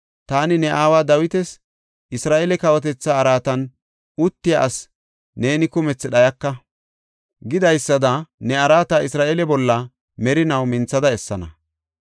taani ne aawa Dawitas, ‘Isra7eele kawotetha araatan uttiya asi neeni kumethi dhayaka’ ” gidaysada ne araata Isra7eele bolla merinaw minthada essana.